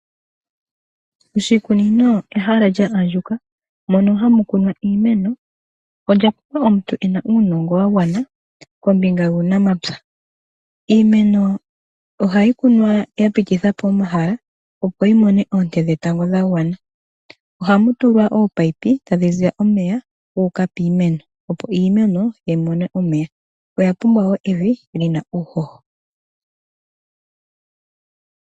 Oshikunino ehala lya andjuka mono hamu kunwa iimeno olya pumbwa omuntu ena uunongo wagwana kombinga yuunamapya. Iimeno ohayi kunwa ya pitithapo omahala opo yimone oonte dhetango dhagwana. Ohamu tulwa oopayipi tadhi ziya omeya guuka piimeno opo iimeno yimone omeya. Oya pumbwa woo evi lina uuhoho.